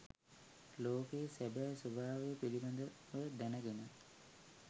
ලෝකයේ සැබෑ ස්වභාවය පිළිබඳව දැනගෙන